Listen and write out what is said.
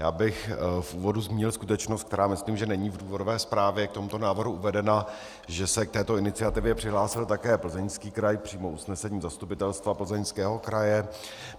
Já bych v úvodu zmínil skutečnost, která myslím, že není v důvodové zprávě k tomuto návrhu uvedena, že se k této iniciativě přihlásil také Plzeňský kraj přímo usnesením Zastupitelstva Plzeňského kraje.